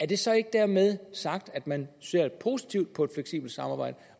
det så ikke dermed sagt at man ser positivt på fleksibelt samarbejde